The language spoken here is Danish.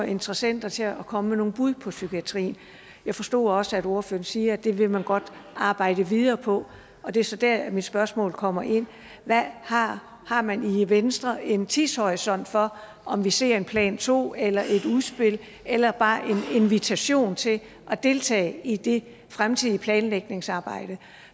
interessenter til at komme med nogle bud på psykiatrien jeg forstod også at ordføreren siger at det vil man godt arbejde videre på og det er så der mit spørgsmål kommer ind har har man i venstre en tidshorisont for om vi ser en plan to eller et udspil eller bare en invitation til at deltage i det fremtidige planlægningsarbejde